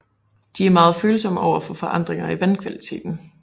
De er meget følsomme over for forandringer af vandkvaliteten